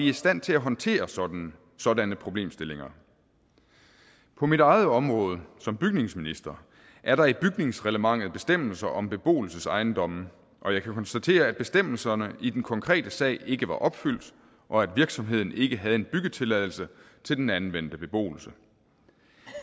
i stand til at håndtere sådanne sådanne problemstillinger på mit eget område som bygningsminister er der i bygningsreglementet bestemmelser om beboelsesejendomme og jeg kan konstatere at bestemmelserne i den konkrete sag ikke var opfyldt og at virksomheden ikke havde en byggetilladelse til den anvendte beboelse